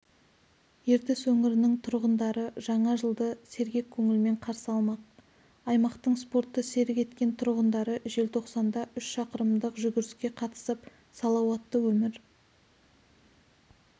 ертіс өңірінің тұрғындары жаңа жылды сергек көңілмен қарсы алмақ аймақтың спортты серік еткен тұрғындары желтоқсанда үш шақырымдық жүгіріске қатысып салауатты өмір